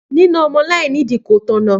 Nína ọmọ láìní ìdí kò tọ̀nà.